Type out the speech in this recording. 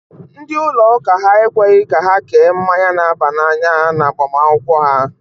Ndị ụlọ ụka ha ekweghị ka ha kee mmanya na-aba n'anya na agbamakwụkwọ ha.